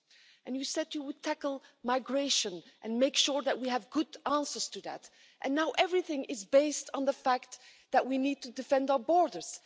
And you said you would tackle migration and make sure that we have good answers to that, and now everything is based on the fact that we need to defend our borders.